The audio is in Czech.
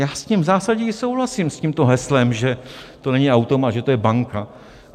Já s tím zásadně souhlasím, s tímto heslem, že to není automat, že to je banka.